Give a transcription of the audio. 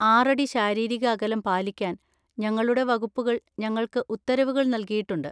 ആറടി ശാരീരിക അകലം പാലിക്കാൻ ഞങ്ങളുടെ വകുപ്പുകൾ ഞങ്ങൾക്ക് ഉത്തരവുകൾ നൽകിയിട്ടുണ്ട്.